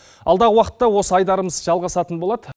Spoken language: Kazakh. алдағы уақытта осы айдарымыз жалғасатын болады